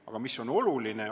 Aga mis on oluline?